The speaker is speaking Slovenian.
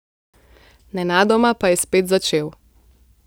Nenadoma pa je spet začel.